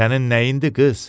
Sənin nəyindi qız?